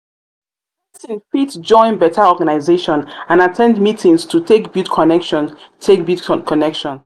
persin fit join better organisation and at ten d meetings to take build connection take build connection